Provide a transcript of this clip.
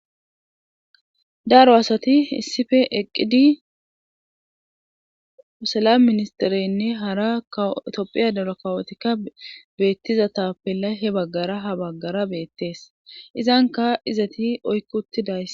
daro asati issife eqqidi ussalam ministereynne hara itophiya daro kawotikka beettiza tappella he baggara ha baggara beettees izanka izati oykkutidays